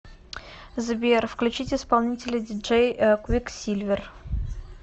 сбер включить исполнителя диджей квиксильвер